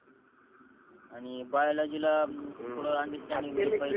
आणि बियॉलॉजिला थोड अंडरस्टॅण्डिंग पाहिजे